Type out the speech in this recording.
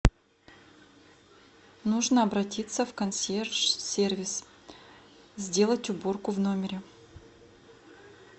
нужно обратиться в консьерж сервис сделать уборку в номере